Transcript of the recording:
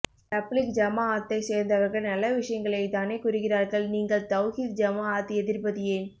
தப்லீக் ஜமாஅத்தைசேர்ந்தவர்கள் நல்ல விசயங்களை தானே கூறுகிறார்கள் நீங்கள்தவ்ஹீத் ஜமாஅத் எதிர்ப்பது ஏன்